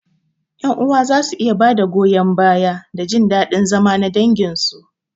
Ƴan uwa za su iya ba da goyon baya na da jin daɗin zama na danginsu.